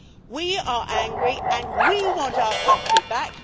We are angry, and we want our country back.